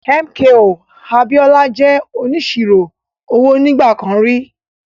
MKO Abiola jẹ́ onísirò owó nígbà kan rí.